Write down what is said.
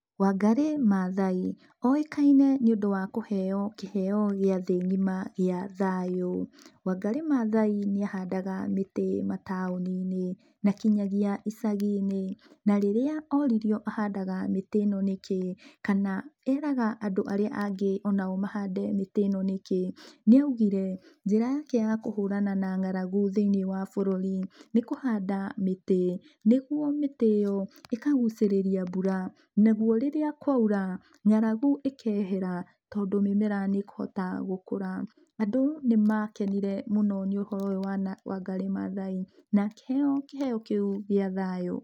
Wangarĩ Maathai oĩkaine nĩũndũ wa kũheo kĩheo gĩa thĩ ng'ima gĩa thayũ. Wangarĩ Maathai nĩ ahandaga mĩtĩ mataũninĩ na kinyagia icaginĩ, na rĩrĩa ũririo ahandaga mĩtĩ ĩno nikĩĩ kana eraga andũ arĩa angĩ mahande mĩtĩ ĩno nĩkĩĩ nĩ augire njĩra yake ya kũhũrana na ng'aragu thĩinĩ wa bũrũri nĩkũhanda mĩtĩ, nĩguo mĩtĩ ĩyo ĩkagucĩrĩria mbura naguo rĩrĩa kwaura ng'aragu ĩkehera tondũ mĩmera nĩkũhota gũkũra, andũ nĩmakenire mũno nĩ ũhoro ũyũ wa Wangarĩ Maathai na akĩheo kĩheo kĩu gĩa thayũ.